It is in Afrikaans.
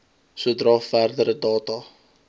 sodra verdere data